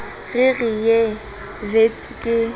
re re ye wits ka